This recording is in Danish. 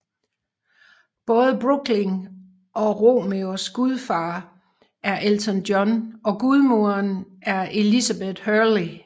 Både Brooklyn og Romeos gudfar er Elton John og gudmoderen er Elizabeth Hurley